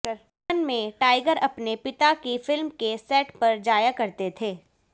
बचपन में टाइगर अपने पिता की फिल्म के सेट पर जाया करते थे